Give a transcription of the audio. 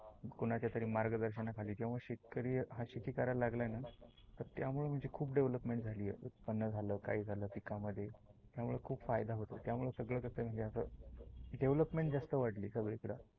कुणाच्या तरी मार्गदर्शन खाली जेव्हा शेतकरी हा शेती करायला लागला ना त्यामुळ म्हणजे खुप डेवलपमेंट झाली आहे. उत्पन झाल काही झाल पिकामध्ये त्यामुळ खुप फायदा होतो. त्यामुळ सगळ कस म्हणजे अस डेवलपमेंट जास्त वाढली सगळी कड.